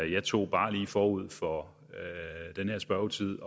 jeg tog bare lige forud for den her spørgetid